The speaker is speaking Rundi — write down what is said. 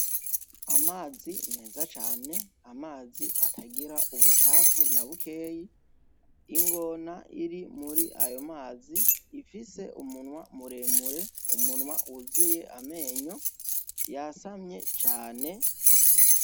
Amazi meza cane amazi atagira ubucafu nabukeyi, ingona iri muri ayo mazi ifise umunwa muremure umunwa wuzuye amenyo yasamye cane.